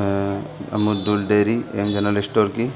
अ अमूल दूध dairy M general store की